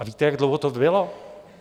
A víte, jak dlouho to bylo?